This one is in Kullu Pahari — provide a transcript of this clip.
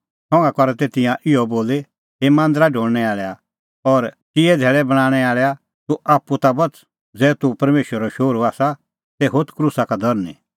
संघा करा तै तिंयां इहअ बोली हे मांदरा ढोल़णैं आल़ैआ और चिऐ धैल़ै बणांणैं आल़ैआ तूह आप्पू ता बच़ ज़ै तूह परमेशरो शोहरू आसा तै होथ क्रूसा का धरनीं